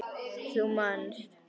Þú manst.